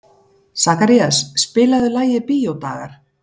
Sakarías, spilaðu lagið „Bíódagar“.